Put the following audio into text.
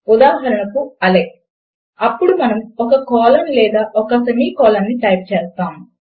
ఉదాహరణకు -అలెక్స్ అప్పుడు మనము ఒక కోలన్ లేదా ఒక సెమీ కోలన్ ను టైప్ చేస్తాము